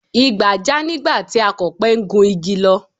Igbà já nígbà tí Akọ̀pẹ ń gun igi lọ